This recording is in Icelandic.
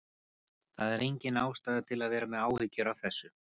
Það er engin ástæða til að vera með áhyggjur af þessu.